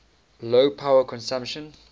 low power consumption